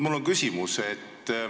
Mul on küsimus.